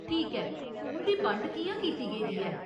ठीक ऐ, उं'दी बंड कि'यां कीती गेदी ऐ ?